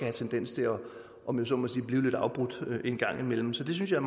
en tendens til om jeg så må sige at blive lidt afbrudt en gang imellem så det synes jeg